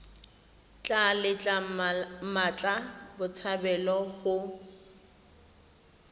tla letla mmatla botshabelo go